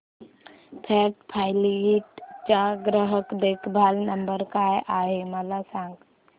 first flight चा ग्राहक देखभाल नंबर काय आहे मला सांग